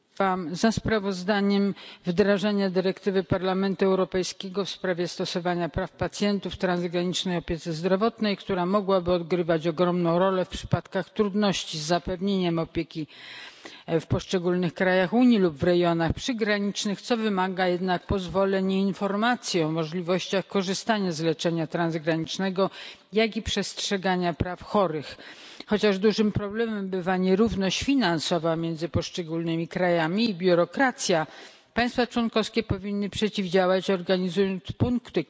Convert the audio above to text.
Pani Przewodnicząca! Głosowałam za sprawozdaniem w sprawie wdrażania dyrektywy Parlamentu Europejskiego w sprawie stosowania praw pacjentów w transgranicznej opiece zdrowotnej, która mogłaby odgrywać ogromną rolę w przypadkach trudności z zapewnieniem opieki w poszczególnych krajach Unii lub w rejonach przygranicznych, co wymaga jednak pozwoleń i informacji o możliwościach korzystania z leczenia transgranicznego, jak i przestrzegania praw chorych. Chociaż dużym problemem bywa nierówność finansowa między poszczególnymi krajami i biurokracja, której państwa członkowskie powinny przeciwdziałać, organizując punkty